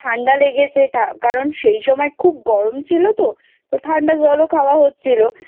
ঠান্ডা লেগেছে এটা কারণ সেই সময় খুব গরম ছিল তো ঠাণ্ডা জলও খাওয়া হচ্ছিল